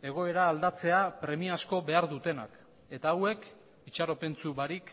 egoera aldatzea premiazko behar dutenak eta hauek itxaropentsu barik